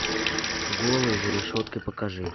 голые за решеткой покажи